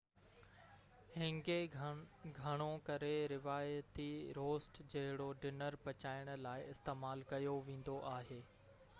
هينگي گهڻو ڪري روايتي روسٽ جهڙو ڊنر پچائڻ لاءِ استعمال ڪيو ويندو آهي